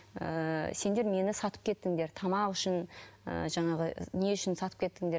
ііі сендер мені сатып кеттіңдер тамақ үшін і жаңағы не үшін сатып кеттіңдер